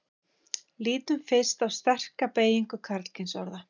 lítum fyrst á sterka beygingu karlkynsorða